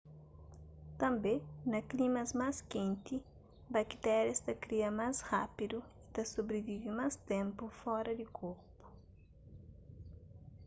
tânbe na klimas más kenti bakitérias ta kria más rapidu y ta sobrivive más ténpu fora di korpu